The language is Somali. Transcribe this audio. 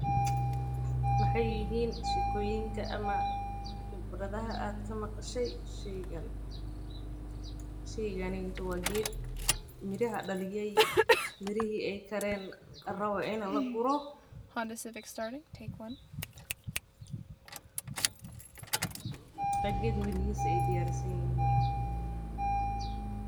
Maxay yihiin shekooyinka ama khibradaha aad ka maqashay shaygan, sheyganetu wa qeed miraha daliyey, mirixii aya karen, larawo inu laguro, wa qed mirixisa ay diyarsinyixiin.